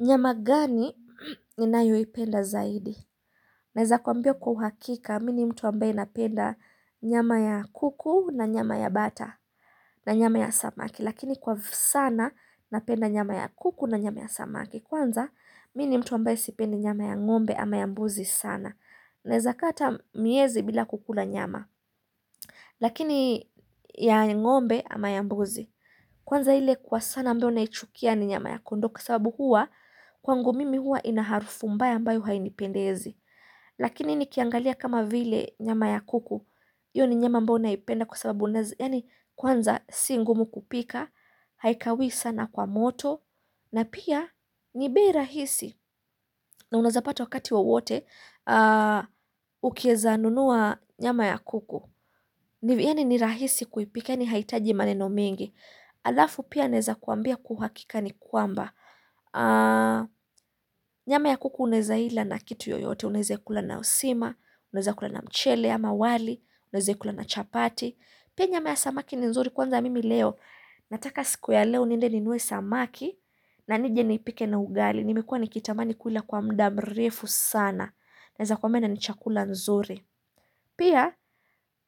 Nyama gani ninayoi penda zaidi Naeza kuambia kwa uhakika mini mtu ambaye napenda nyama ya kuku na nyama ya bata na nyama ya samaki lakini kwa sana napenda nyama ya kuku na nyama ya samaki kwanza mini mtu ambaye sipendi nyama ya ng'ombe ama ya mbuzi sana Naeza kaa ata miezi bila kukula nyama Lakini ya ng'ombe ama ya mbuzi Kwanza hile kwa sana ambao naichukia ni nyama ya kondoo Kwa sababu huwa kwangu mimi huwa inaharufu mbaya ambayo hainipendezi Lakini nikiangalia kama vile nyama ya kuku Iyo ni nyama ambao naipenda kwa sababu Kwanza si ngumu kupika, Haikawii sana kwa moto na pia ni bei rahisi na unaezapata wakati wa wowote Ukiezanunua nyama ya kuku Yaani ni rahisi kuipika yani haitaji maneno mingi alafu pia naeza kuambia kuhakika ni kuamba nyama ya kuku unaeza ila na kitu yoyote unaeza kula na usima, unaeza kula na mchele ama wali unaeza kula na chapati pia nyama ya samaki ni nzuri kwanza mimi leo nataka siku ya leo niende ni nue samaki na nije ni pike na ugali nimekua nikitamani kuila kwa mda mrefu sana naeza kwambia na ni chakula nzuri pia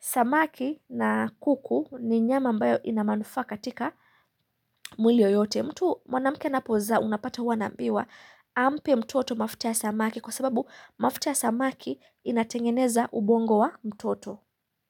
samaki na kuku ni nyama ambayo inamanufaa katika mwili yoyote mtu mwanamke ana pozaa unapata wanambiwa ampe mtoto mafuta samaki kwa sababu mafuta ya samaki inatengeneza ubongo wa mtoto.